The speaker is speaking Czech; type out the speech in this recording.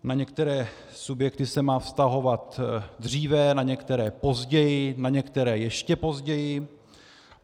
Na některé subjekty se má vztahovat dříve, na některé později, na některé ještě později.